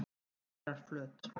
Eyrarflöt